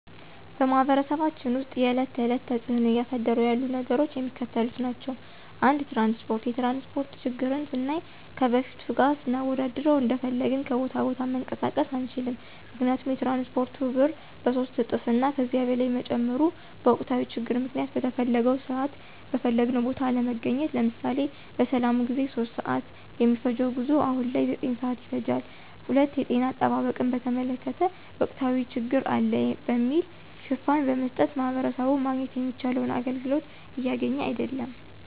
በማህበረሰባችን ውስጥ የዕለት ተዕለት ተፅዕኖ እያሳደሩ ያሉ ነገሮች የሚከተሉት ናቸው። ፩) ትራንስፓርት፦ የትራንስፓርት ችግርን ስናይ ከበፊቱ ጋር ስናወዳድረው እንደፈለግን ከቦታ ቦታ መንቀሳቀስ አንችልም ምክንያቱም የትራንስፓርቱ ብር በሶስት እጥፍ እና ከዚያ በላይ መጨመሩ፤ በወቅታዊ ችግር ምክንያት በተፈለገው ስዓት በፈለግንው ቦታ አለመገኘት። ለምሳሌ፦ በሰላሙ ጊዜ 3:00 ስዓት የሚፈጅው ጉዞ አሁን ላይ 9:00 ስዓት ይፈጃል። ፪) የጤና አጠባበቅን በተመለከተ ወቅታዊ ችግር አለ በሚል ሽፋን በመስጠት ማህበረሰቡ ማግኘት የሚችለውን አገልግሎት እያገኘ አይድለም።